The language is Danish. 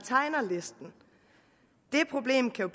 tegner listen det problem kan